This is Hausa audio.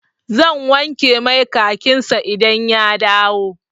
Zan wanke mai kakin sa idan ya dawo.